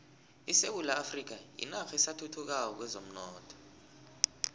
isewula afrika yinarha esathuthukako kwezomnotho